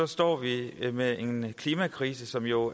står vi med en klimakrise som jo